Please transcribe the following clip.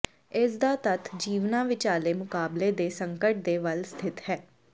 ਇਸ ਦਾ ਤੱਤ ਜੀਵਨਾਂ ਵਿਚਾਲੇ ਮੁਕਾਬਲੇ ਦੇ ਸੰਕਟ ਦੇ ਵੱਲ ਸਥਿਤ ਹੈ